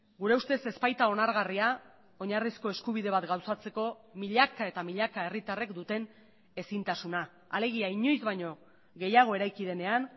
gure ustez ez baita onargarria oinarrizko eskubide bat gauzatzeko milaka eta milaka herritarrek duten ezintasuna alegia inoiz baino gehiago eraiki denean